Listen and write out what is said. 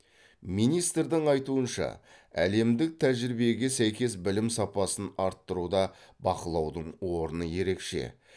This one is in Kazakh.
министрдің айтуынша әлемдік тәжірибеге сәйкес білім сапасын арттыруда бақылаудың орны ерекше